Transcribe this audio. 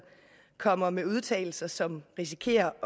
kommer med udtalelser som risikerer